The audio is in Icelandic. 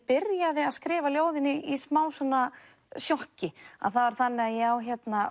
byrja ég að skrifa ljóðin í smá sjokki það var þannig að ég á